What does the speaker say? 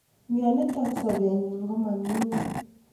mionitok sopenyin koma nyunyum